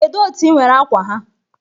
Kedu otu i nwere akwa ha?